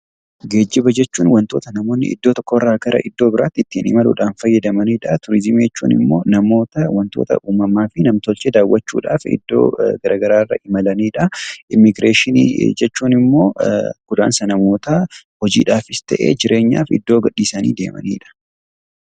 Geejjiba jechuun wantoota namoonni iddoo tokkorraa gara iddoo biraatti ittiin imaluudhaan fayyadamanidha. Turizimii jechuun immoo namoota wantoota uumamaa fi nam-tolchee daawwachuuf iddoo garaagaraa irra imalanidha. Immiigireeshinii jechuun immoo godaansa namootaa hojiifis ta'ee jireenyaaf iddoo gadhiisanii deemanidha.